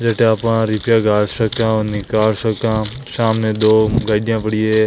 जटे आपा रिपिया गाल सका और निकाल सका हा सामने दो गाड़ियां पड़ी है।